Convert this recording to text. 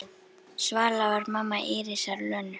Svala var mamma Írisar Lönu.